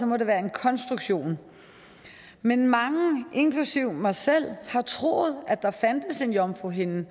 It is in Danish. må det være en konstruktion men mange inklusive mig selv har troet at der fandtes en jomfruhinde